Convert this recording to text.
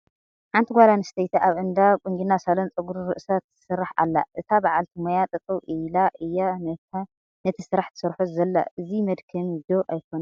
ሓንቲ ጓል ኣነስተይቲ ኣብ እንዳ ቁንጅና ሳሎን ጨጉሪ ርእሳ ትስራሕ ኣላ፡፡ እታ በዓልቲ ሞያ ጠጠው ኢላ እያ ነቲ ስራሕ ትሰርሖ ዘላ፡፡ እዚ መድከሚ ዶ ኣይኮነን?